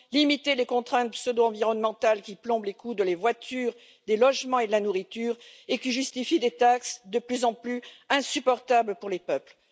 limiter les contraintes pseudo environnementales qui plombent les coûts des voitures, des logements et de la nourriture, et qui justifient des taxes de plus en plus insupportables pour les peuples.